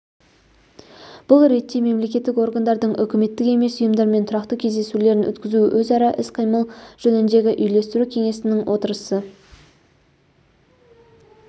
бұл ретте мемлекеттік органдардың үкіметтік емес ұйымдармен тұрақты кездесулерін өткізу өзара іс-қимыл жөніндегі үйлестіру кеңесінің отырысы